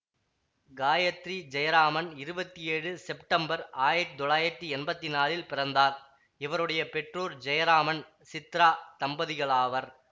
காயத்ரி ஜெயராமன் இருபத்தி ஏழு செப்டம்பர் ஆயத்தி தொள்ளாயத்தி எம்பத்தி நாலில் பிறந்தார் இவருடைய பெற்றோர் ஜெயராமன் சித்ரா தம்பதிகளாவர்